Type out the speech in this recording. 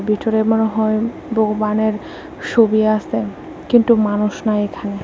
ভিটরে মনে হয় বগোবানের সোবি আসে কিনটু মানুষ নাই এখানে।